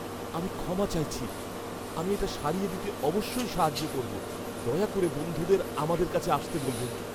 আমি ক্ষমা চাইছি। আমি এটা সারিয়ে দিতে অবশ্যই সাহায্য করব। দয়া করে বন্ধুদের আমাদের কাছে আসতে বলবেন।